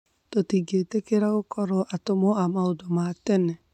Tutĩngĩtĩkiea gũkorwo atũmwo ya maũndũ ma tene